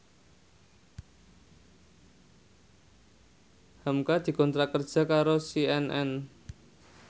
hamka dikontrak kerja karo CNN